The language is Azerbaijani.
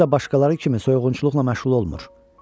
Özü də başqaları kimi soyğunçuluqla məşğul olmur.